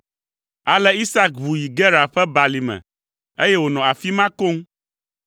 Ale Isak ʋu yi Gerar ƒe balime, eye wònɔ afi ma koŋ.